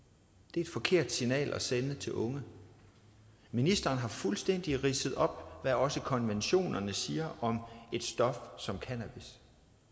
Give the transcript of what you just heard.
er et forkert signal at sende til unge ministeren har fuldstændig ridset op hvad også konventionerne siger om et stof som cannabis